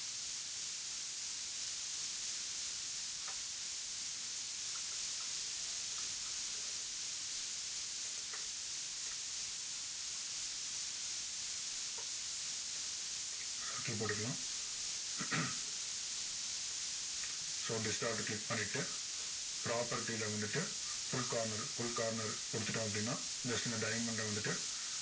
circle போட்டுக்கலாம் so distort click பண்ணிட்டு property ல வந்துட்டு full corner full corner கொடுத்துட்டோம் அப்படின்னா next இந்த diamond அ வந்துட்டு